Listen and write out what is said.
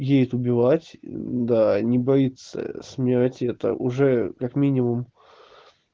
едет убивать да не боится смерти это уже как минимум